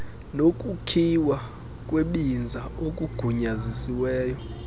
nokukhiwa kwebinza okugunyazisiweyo